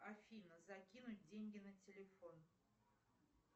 афина закинуть деньги на телефон